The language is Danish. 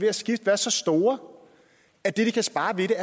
at skifte være så store at det de kan spare ved